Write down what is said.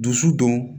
Dusu don